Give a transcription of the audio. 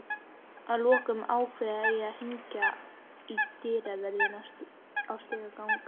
Að lokum ákveð ég að hringja í dyravörðinn í stigagang